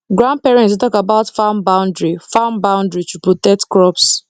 grandparents dey talk about farm boundary farm boundary to protect crops